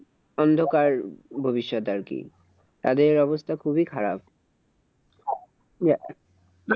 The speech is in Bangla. অন্ধকার ভবিষ্যত আরকি । তাদের অবস্থা খুবই খারাপ।